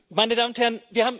Meine Damen und Herren!